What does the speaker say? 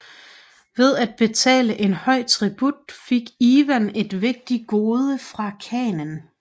Ved at betale en høj tribut fik Ivan et vigtigt gode fra khanen